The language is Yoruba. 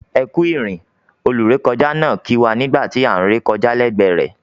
"Ekú ìrìn" olúrekọjá náà kì wá nígbà tí án re kọjá lẹgbẹ rẹ̀.